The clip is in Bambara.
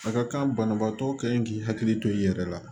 A ka kan banabaatɔ ka ɲi k'i hakili to i yɛrɛ la